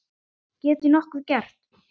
Get ég nokkuð gert?